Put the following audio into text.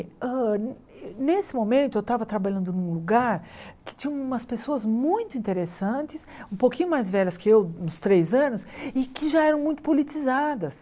Hã nesse momento eu estava trabalhando num lugar que tinha umas pessoas muito interessantes, um pouquinho mais velhas que eu, uns três anos, e que já eram muito politizadas.